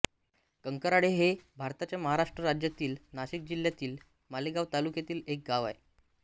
कंकराळे हे भारताच्या महाराष्ट्र राज्यातील नाशिक जिल्ह्यातील मालेगाव तालुक्यातील एक गाव आहे